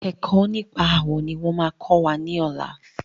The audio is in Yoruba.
Ẹ̀kọ́ nípa àwọ̀ ní wọ́n máa kọ́ wa lọ́làá.